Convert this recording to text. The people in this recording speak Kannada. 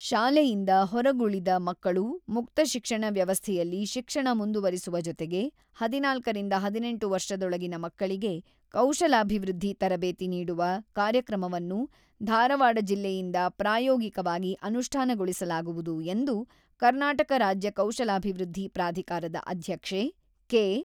ಶಾಲೆಯಿಂದ ಹೊರಗುಳಿದ ಮಕ್ಕಳು ಮುಕ್ತ ಶಿಕ್ಷಣ ವ್ಯವಸ್ಥೆಯಲ್ಲಿ ಶಿಕ್ಷಣ ಮುಂದುವರಿಸುವ ಜೊತೆಗೆ ಹದಿನಾಲ್ಕರಿಂದ ಹದಿನೆಂಟು ವರ್ಷದೊಳಗಿನ ಮಕ್ಕಳಿಗೆ ಕೌಶಲಾಭಿವೃದ್ಧಿ ತರಬೇತಿ ನೀಡುವ ಕಾರ್ಯಕ್ರಮವನ್ನು ಧಾರವಾಡ ಜಿಲ್ಲೆಯಿಂದ ಪ್ರಾಯೋಗಿಕವಾಗಿ ಅನುಷ್ಠಾನಗೊಳಿಸಲಾಗುವುದು ಎಂದು ಕರ್ನಾಟಕ ರಾಜ್ಯ ಕೌಶಲ್ಯಾಭಿವೃದ್ಧಿ ಪ್ರಾಧಿಕಾರದ ಅಧ್ಯಕ್ಷೆ ಕೆ.